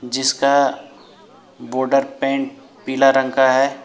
जिसका border pant पीला रंग का है।